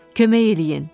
Kömək eləyin.